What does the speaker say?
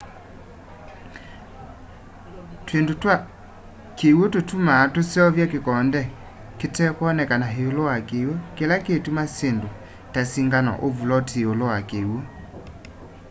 twindu twa kiwu tutumaa tuseuvya kikonde kitekwoneka iulu wa kiwu kila kituma syindu ta singano u vuloti yiulu wa kiwu